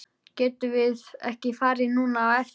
Getum við ekki farið núna á eftir?